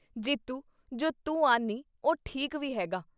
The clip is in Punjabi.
ਜੀਤੂ ਜੋ ਤੂੰ ਆਨ੍ਹੀ ਉਹ ਠੀਕ ਵੀ ਹੈ ਗਾ !